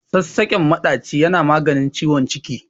Sassaƙen maɗaci yana maganin ciwon ciki.